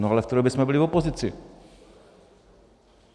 - No ale v té době jsme byli v opozici.